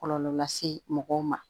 Kɔlɔlɔ lase mɔgɔw ma